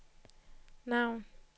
navn